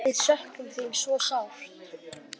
Við söknum þín svo sárt.